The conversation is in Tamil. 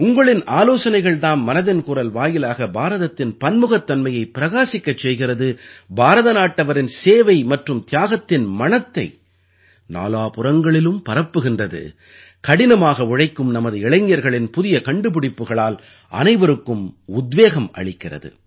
உங்களின் ஆலோசனைகள் தாம் மனதின் குரல் வாயிலாக பாரதத்தின் பன்முகத்தன்மையை பிரகாசிக்கச் செய்கிறது பாரத நாட்டவரின் சேவை மற்றும் தியாகத்தின் மணத்தை நாலாபுறங்களிலும் பரப்புகின்றது கடினமாக உழைக்கும் நமது இளைஞர்களின் புதிய கண்டுபிடிப்புகளால் அனைவருக்கும் உத்வேகம் அளிக்கிறது